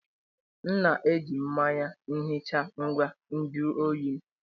M na-eji mmanya ihicha ngwa nju oyi m